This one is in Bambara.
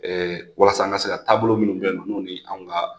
walasa an ka se ka taabolo minnu beyinɔ n'o ni anw ka.